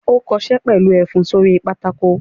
Ó kọṣẹ́ pẹ̀lú ẹfun sórí pátákó!